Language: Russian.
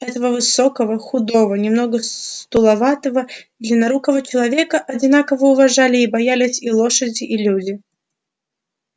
этого высокого худого немного сутуловатого длиннорукого человека одинаково уважали и боялись и лошади и люди